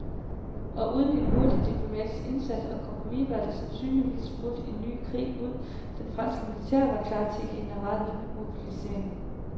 Og uden en hurtig diplomatisk indsats og kompromis var der sandsynligvis brudt en ny krig ud, det franske militær var klar til generalmobilisering.